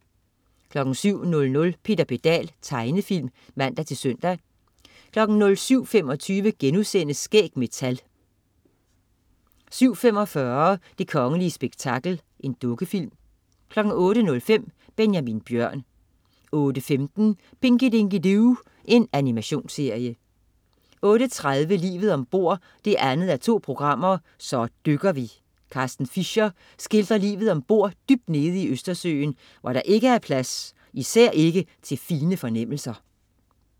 07.00 Peter Pedal. Tegnefilm (man-søn) 07.25 Skæg med tal* 07.45 Det kongelige spektakel. Dukkefilm 08.05 Benjamin Bjørn 08.15 Pinky Dinky Doo. Animationsserie 08.30 Livet om bord 2:2. Så dykker vi. Carsten Fischer skildrer livet om bord dybt nede i Østersøen, hvor der ikke er plads, især ikke til fine fornemmelser